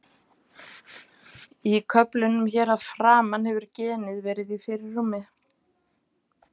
Í köflunum hér að framan hefur genið verið í fyrirrúmi.